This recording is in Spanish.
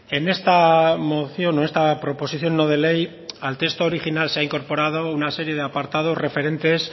en esta moción o esta proposición no de ley al texto original se ha incorporado una serie de apartados referentes